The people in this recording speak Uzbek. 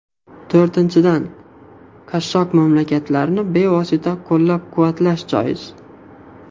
To‘rtinchidan, qashshoq mamlakatlarni bevosita qo‘llab-quvvatlash joiz.